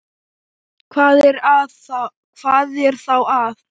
Hvað er þá að?